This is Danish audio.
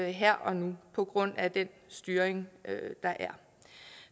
her og nu på grund af den styring der er